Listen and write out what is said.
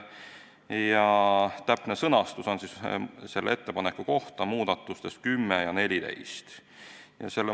Muudatuse täpne sõnastus on kirjas muudatusettepanekutes nr 10 ja 14.